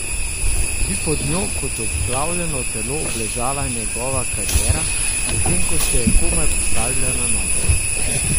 Bi pod njo kot obglavljeno telo obležala njegova kariera, potem ko se je komaj postavila na noge?